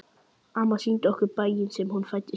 Amma sýndi okkur bæinn sem hún fæddist í.